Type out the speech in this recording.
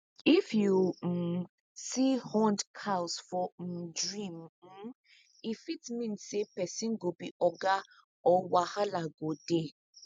if you um see horned cows for um dream um e fit mean say person go be oga or wahala go dey